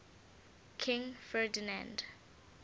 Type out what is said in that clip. king ferdinand